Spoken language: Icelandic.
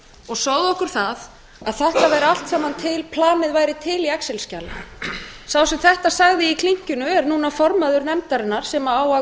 og sögðu okkur það að þetta væri allt saman til planið væri til í excel skjali sá sem þetta sagði í klinkinu er núna formaður nefndarinnar sem á að